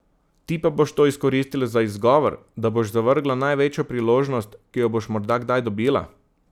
Ti pa boš to izkoristila za izgovor, da boš zavrgla največjo priložnost, ki jo boš morda kdaj dobila.